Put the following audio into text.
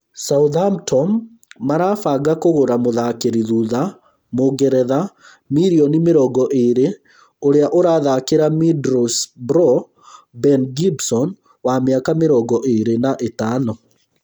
Southampton marabanga kũgũra mũthakĩri thutha mũngeretha mirioni mĩrongo ĩĩrĩ ũrĩa ũrathakĩra Middlesbrough Ben Gibson wa mĩaka mĩrongo ĩĩrĩ na ĩtano